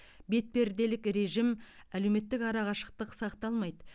бетперделік режим әлеуметтік арқашықтық сақталмайды